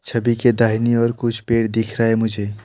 छवि के दाहिने और कुछ पेड़ दिख रहा है मुझे।